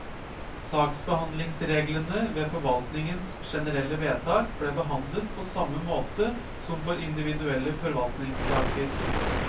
Saksbehandlingsreglene ved forvaltningens generelle vedtak ble behandlet på samme måte som for individuelle forvaltningssaker.